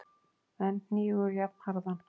en hnígur jafnharðan.